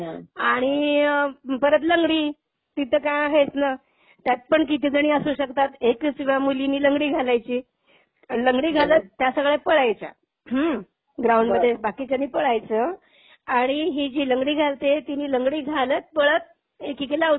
आणि परत लंगडी. ती तर काय आहेच ना? त्यात पण कितीही जणी असू शकतात. त्यात एक सगळ्या मुलीनी लंगडी घालायची. लंगडी घालत त्या सगळ्या पळायच्या. हम्म, ग्राऊंडमध्ये बाकीच्यानी पळायचं आणि ही जी लंगडी घालते तिनी लंगडी घालत पळत एकेकीला आऊट करायचं.